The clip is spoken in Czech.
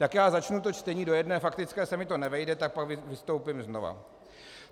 Tak já začnu to čtení, do jedné faktické se mi to nevejde, tak pak vystoupím znova.